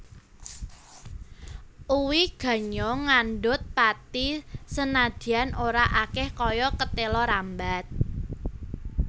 Uwi ganyong ngandhut pathi senadyan ora akèh kaya ketéla rambat